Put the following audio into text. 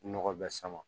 Nɔgɔ bɛɛ sama